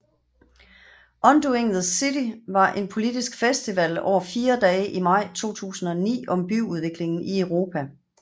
Undoing the City var en politisk festival over fire dage i maj 2009 om byudviklingen i Europa